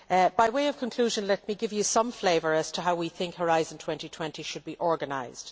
By way of conclusion, let me give you some flavour of how we think Horizon 2020 should be organised.